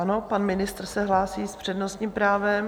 Ano, pan ministr se hlásí s přednostním právem.